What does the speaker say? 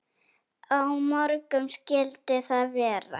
Á morgun skyldi það vera.